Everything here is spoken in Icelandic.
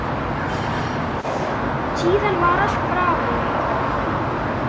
Síðan var allt bravó.